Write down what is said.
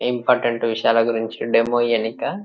important విషయాల గురించి demo ఇయానిక --